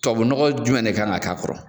Tobabu nɔgɔ jumɛn de kan ka k' a kɔrɔ.